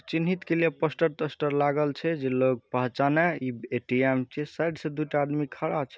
चिन्हित के लिए पोस्टर टोस्टर लागल छे जी लोग पहचाने ई ए.टी.एम. साइड से दूटा आदमी खड़ा छे।